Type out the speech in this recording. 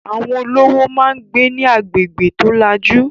Àwọn olówó máà ń gbé ní agbègbè tó lajú